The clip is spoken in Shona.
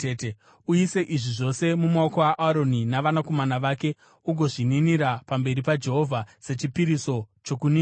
Uise izvi zvose mumaoko aAroni navanakomana vake ugozvininira pamberi paJehovha sechipiriso chokuninira.